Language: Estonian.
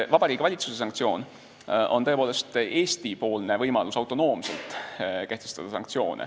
Vabariigi Valitsuse sanktsioon on tõepoolest Eesti-poolne võimalus autonoomselt sanktsioone kehtestada.